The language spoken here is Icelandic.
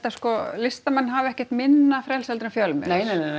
sko listamenn hafa ekkert minna frelsi heldur en fjölmiðlar